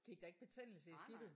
Gik der ikke betændelse i skidtet?